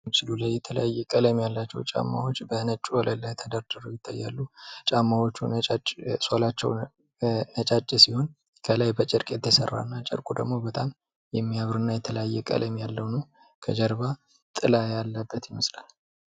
በምስሉ ላይ የተለያየ ቀለም ያላቸው ጫማዎች በነጭ ወለል ላይ ተደርድረው ይታያሉ። ጫማዎቹ ሶላቸው ነጫጭ ሲሆን ከላይ በጨርቅ የተሰራ እና ጨርቁ ደግሞ በጣም የሚያምር እና የተለያየ ቀለም ያለው ነው። ከጀርባ ጥላ ያለበት ይመስላል።